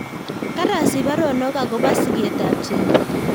karasich paronog akopo sigetap chebet